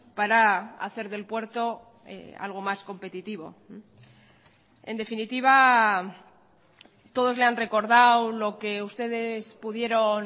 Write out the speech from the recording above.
para hacer del puerto algo más competitivo en definitiva todos le han recordado lo que ustedes pudieron